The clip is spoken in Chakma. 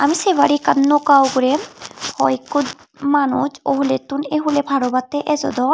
tumi sey pariba ekkan noka ugurey hoiekko manuj owhulettun ei huley par obottey ejodon.